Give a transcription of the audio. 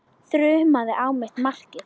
Þrumaði á mitt markið.